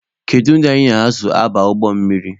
Kedu ndị anyị na ha so aba ụgbọ mmiri?